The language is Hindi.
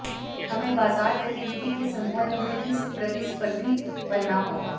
हमें बाजार गतिविधि के संदर्भ में भी प्रतिस्पर्धी बनना होगा